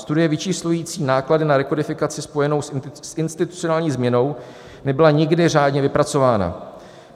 Studie vyčíslující náklady na rekodifikaci spojenou s institucionální změnou nebyla nikdy řádně vypracována.